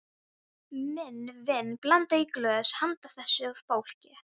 Minn vin blandaði í glös handa þessu fólki.